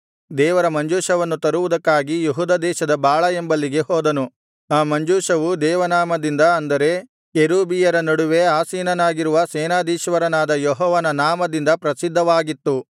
ದೇವರ ಮಂಜೂಷವನ್ನು ತರುವುದಕ್ಕಾಗಿ ಯೆಹೂದ ದೇಶದ ಬಾಳಾ ಎಂಬಲ್ಲಿಗೆ ಹೋದನು ಆ ಮಂಜೂಷವು ದೇವನಾಮದಿಂದ ಅಂದರೆ ಕೆರೂಬಿಯರ ನಡುವೆ ಆಸೀನನಾಗಿರುವ ಸೇನಾಧೀಶ್ವರನಾದ ಯೆಹೋವನ ನಾಮದಿಂದ ಪ್ರಸಿದ್ಧವಾಗಿತ್ತು